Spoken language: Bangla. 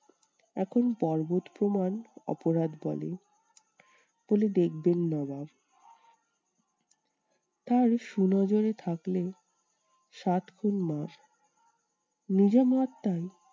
এখন পর্বত প্রমান অপরাধ বলে বলে দেখবেন নবাব। তাই সুনজরে থাকলেও সাত খুন মাফ নিজে